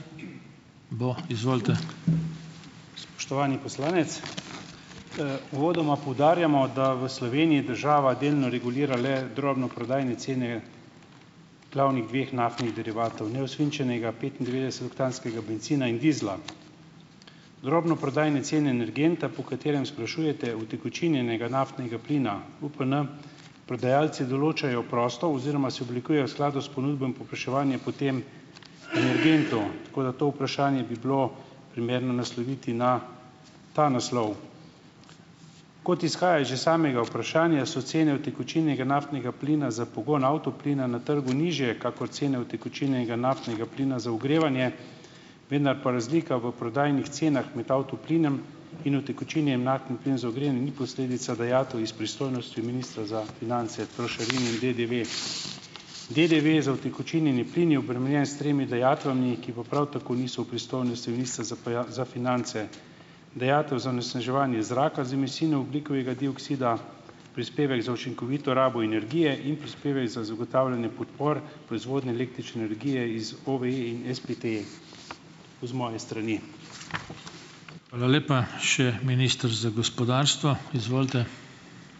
Spoštovani poslanec. Uvodoma poudarjamo, da v Sloveniji država delno regulira le drobnoprodajne cene glavnih dveh naftnih derivatov, neosvinčenega petindevetdesetoktanskega bencina in dizla. Drobnoprodajne cene energenta, po katerem sprašujete, utekočinjenega naftnega plina, UPN, prodajalci določajo prosto oziroma se oblikujejo v skladu s ponudbo in povpraševanjem po tem energentu. Tako da to vprašanje bi bilo primerno nasloviti na ta naslov. Kot izhaja iz že samega vprašanja, so cene utekočinjenega naftnega plina za pogon avtoplina na trgu nižje kakor cene utekočinjenega naftnega plina za ogrevanje, vendar pa razlika v prodajnih cenah med avtoplinom in utekočinjenim naftnim plinom za ogrevanje ni posledica dajatev iz pristojnosti ministra za finance, trošarin in DDV. DDV za utekočinjeni plin je obremenjen s tremi dajatvami, ki pa prav tako niso v pristojnosti ministra za za finance, dajatev za onesnaževanje zraka z emisijo ogljikovega dioksida, prispevek za učinkovito rabo energije in prispevek za zagotavljanje podpor proizvodnje električne energije iz OVE in SPT. To z moje strani.